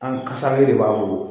An kasalen de b'a bolo